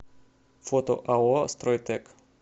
фото ао стройтэк